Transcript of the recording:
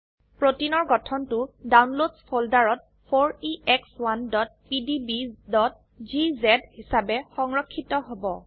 প্ৰোটিনৰ গঠনটো ডাউনলোডছ ফোল্ডাৰত 4ex1pdbজিজে হিসাবে সংৰক্ষিত হব